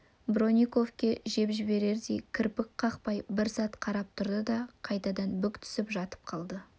бронниковке жеп жіберердей кірпік қақпай бір сәт қарап тұрды да қайтадан бүк түсіп жатып қалды